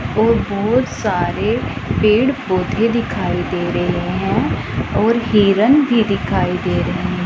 और बहुत सारे पेड़ पौधे दिखाई दे रहे हैं और हिरन भी दिखाई दे रहे --